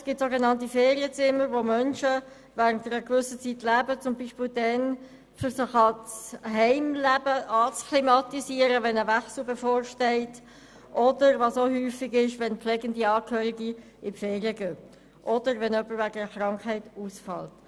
Auch gibt es sogenannte Ferienzimmer, wo Menschen während einer gewissen Zeit leben, zum Beispiel um sich an das Heimleben zu akklimatisieren, wenn ein Wechsel bevorsteht, oder, was auch oft vorkommt, wenn pflegende Angehörige in die Ferien gehen oder wenn jemand wegen Krankheit ausfällt.